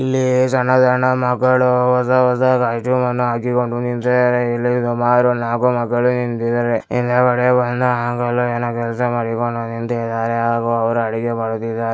ಇಲ್ಲಿ ಸಣ್ಣ ಸಣ್ಣ ಮಕ್ಕಳು ಹೊಸ ಹೊಸ ಕ್ಯಾಸ್ಟಮ್ ಹಾಕಿಕೊಂಡಿದ್ದಾರೆ ನಿಂತಿದ್ದಾರೆ ಇಲ್ಲಿ ಸುಮಾರು ನಾಲ್ಕು ಮಕ್ಕಳು ನಿಂತಿದ್ದಾರೆ ಹಿಂದುಗಡೆ ಒಂದು .